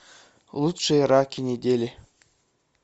лучшие раки недели